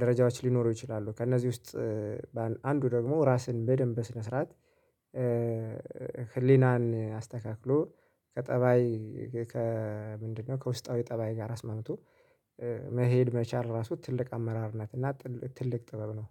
ደረጃዎች ሊኖሩ ይችላሉ። ከእነዚህ ውስጥ አንዱ ደግሞ ራስን በደንብ በስነ ስርዓት ህሊናን አስተካክሎ ከጠባይ ከምንድነው? ከውስጣዊ ጠባይ ጋር አስማምቶ መሄድ መቻል ራሱ ትልቅ አመራርነት እና ትልቅ ጥበብ ነው።